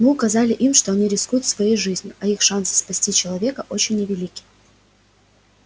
мы указали им что они рискуют своей жизнью а их шансы спасти человека очень невелики